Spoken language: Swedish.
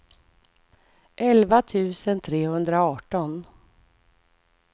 elva tusen trehundraarton